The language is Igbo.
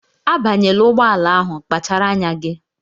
Abanyela ụgbọala ahụ! kpachara anya gị!